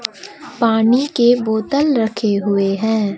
पानी के बोतल रखे हुए हैं।